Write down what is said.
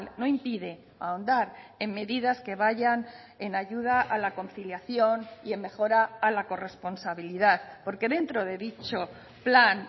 no impide ahondar en medidas que vayan en ayuda a la conciliación y en mejora a la corresponsabilidad porque dentro de dicho plan